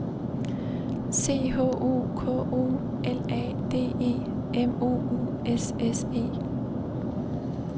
C H O K O L A D E M O U S S E